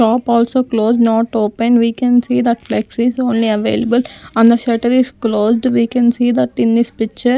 shop also closed not open we can see that flexies only available and the shutter is closed we can see that in this picture --